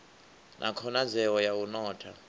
na khonadzeo ya u notha